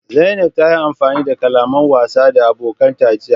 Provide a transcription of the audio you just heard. Zanaib ta yi amfani da kalaman wasa da abokanta jiya.